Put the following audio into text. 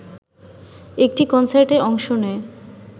একটি কনসার্টে অংশ নেয়